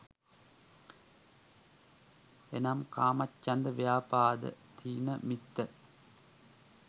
එනම් කාමච්ඡන්ද, ව්‍යාපාද, ථීන මිද්ධ,